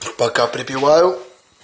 что пока припивал